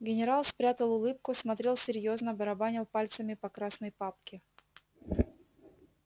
генерал спрятал улыбку смотрел серьёзно барабанил пальцами по красной папке